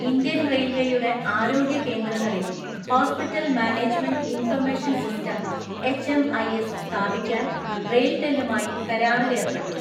Indian റെയിൽവേയുടെ ആരോഗ്യ കേന്ദ്രങ്ങളിൽ, hospital management information system H M I S സ്ഥാപിക്കാൻ റെയിൽ ടെലുമായി കരാറിലേർപ്പെട്ടു.